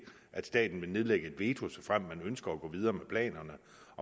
at staten vil nedlægge veto såfremt man ønsker at gå videre med planerne